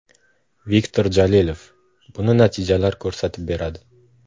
Viktor Jalilov: - Buni natijalar ko‘rsatib beradi.